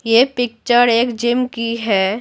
ये पिक्चर एक जिम की है।